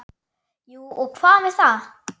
Jú og hvað með það!